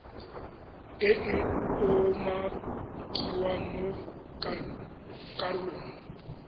e e umakiwang mo karolong